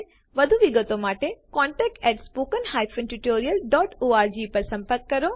વધુ વિગતો માટેcontactspoken tutorialorg પર સંપર્ક કરો